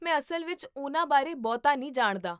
ਮੈਂ ਅਸਲ ਵਿੱਚ ਉਹਨਾਂ ਬਾਰੇ ਬਹੁਤਾ ਨਹੀਂ ਜਾਣਦਾ